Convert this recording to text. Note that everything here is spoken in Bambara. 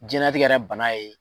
Jɛnatigɛ yɛrɛ bana ye.